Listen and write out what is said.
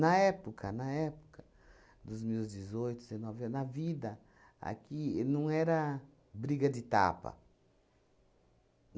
época, na época dos meus dezoito, dezenove anos, a vida aqui não era briga de tapa.